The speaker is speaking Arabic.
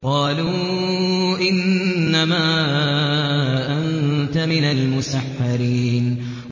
قَالُوا إِنَّمَا أَنتَ مِنَ الْمُسَحَّرِينَ